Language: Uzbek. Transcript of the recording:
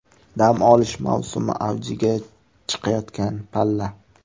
Dam olish mavsumi avjiga chiqayotgan palla.